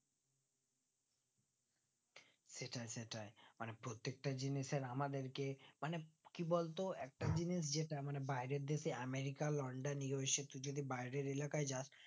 সেটাই সেটাই মানে প্রত্যেকটা জিনিসের আমাদেরকে মানে কি বলতো একটা জিনিস যেটা বাইরের দেশে আমিরিকা লন্ডন USA তু যদি বাইরের এলাকায় যাস